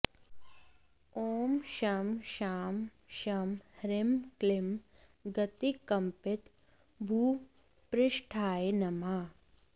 ॐ शं शां षं ह्रीं क्लीं गतिकम्पितभूपृष्ठाय नमः